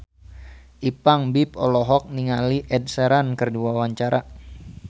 Ipank BIP olohok ningali Ed Sheeran keur diwawancara